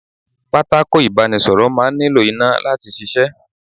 Pátákó ibanisoro máa ń nílò iná láti ṣíṣe.